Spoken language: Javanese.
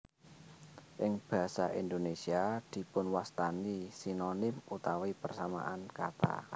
Ing basa Indonesia dipun wastani Sinonim utawi persamaan kata